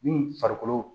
Ni farikolo